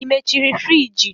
Ị mechiri friji?